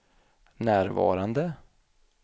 närvarande